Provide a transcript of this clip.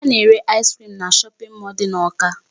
A na-ere ice cream na shopping mall dị n'Awka.